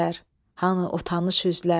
hanı o tanış üzlər?